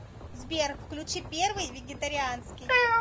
сбер включи первый вегетарианский